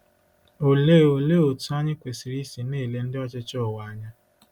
Olee Olee otú anyị kwesịrị isi na-ele ndị ọchịchị ụwa anya?